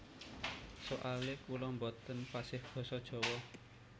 Soale kula boten fasih basa jawa